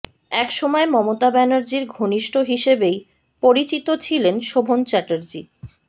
এক সময় মমতা ব্যানার্জীর ঘনিষ্ঠ হিসেবেই পরিচিত ছিলেন শোভন চ্যাটার্জী